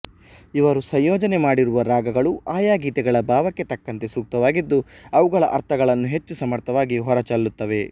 ಇವರು ಸಂಯೋಜನೆ ಮಾಡಿರುವ ರಾಗಗಳು ಆಯಾ ಗೀತೆಗಳ ಭಾವಕ್ಕೆ ತಕ್ಕಂತೆ ಸೂಕ್ತವಾಗಿದ್ದು ಅವುಗಳ ಅರ್ಥಗಳನ್ನು ಹೆಚ್ಚು ಸಮರ್ಥವಾಗಿ ಹೊರಚೆಲ್ಲುತ್ತವೆ